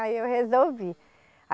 Aí eu resolvi.